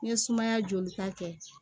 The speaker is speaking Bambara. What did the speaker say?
N'i ye sumaya jolita kɛ